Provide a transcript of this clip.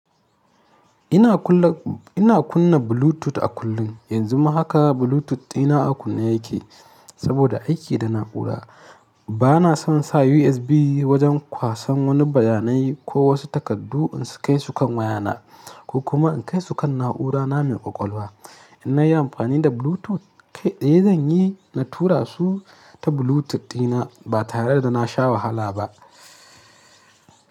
Ina kunna Bluetooth a kullum, yanzu ma haka Bluetooth dina a kunne yake saboda aiki da na’ura. Bana son sa USB wajen kwasan wani bayanai ko wasu takardu in su kai su kan wayana ko kuma in kai su kan na'urana mai ƙwaƙwalwa. In nayi amfani da Bluetooth kai tsaye zan yi na tura su ta Bluetooth dina ba tare da na sha wahala ba.